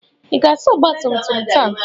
Ị ga-asa ọgba tum tum taa?